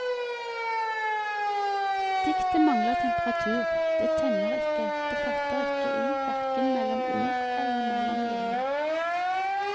Diktet mangler temperatur, det tenner ikke, det fatter ikke i hverken mellom ord eller mellom linjer.